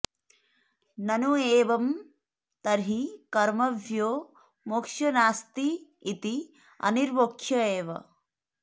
ननु एवं तर्हि कर्मभ्यो मोक्षो नास्ति इति अनिर्मोक्ष एव